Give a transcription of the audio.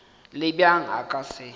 le bjang a ka se